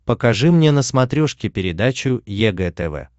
покажи мне на смотрешке передачу егэ тв